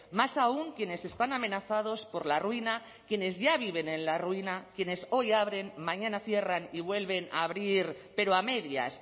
más aún quienes están amenazados por la ruina quienes ya viven en la ruina quienes hoy abren mañana cierran y vuelven a abrir pero a medias